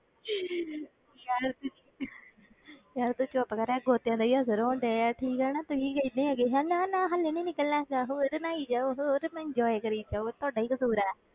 ਯਾਰ ਤੂੰ ਯਾਰ ਤੂੰ ਚੁੱਪ ਕਰ, ਇਹ ਗੋਤਿਆਂ ਦਾ ਹੀ ਅਸਰ ਹੋਣ ਡਿਆ ਹੈ, ਠੀਕ ਹੈ ਨਾ, ਤੁਸੀਂ ਕਹਿੰਦੇ ਹੈਂ ਨਾ ਨਾ ਹਾਲੇ ਨੀ ਨਿਕਲਣਾ ਹੈਗਾ, ਜਾ ਹੋਰ ਨਹਾਈ ਜਾਓ, ਹੋਰ ਨਹਾਈ ਜਾਓ, ਇਉਂ ਕਰੀ ਜਾਂਦਾ ਉਹ ਤੁਹਾਡਾ ਹੀ ਕਸ਼ੂਰ ਹੈ।